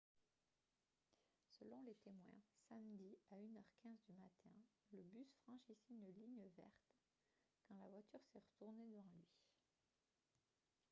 selon les témoins samedi à 1 h 15 du matin le bus franchissait une ligne verte quand la voiture s'est retournée devant lui